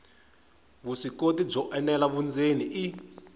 vuswikoti byo enela vundzeni i